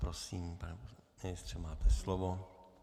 Prosím, pane ministře, máte slovo.